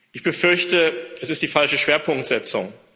Ich befürchte, das ist die falsche Schwerpunktsetzung.